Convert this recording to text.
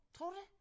Tror du det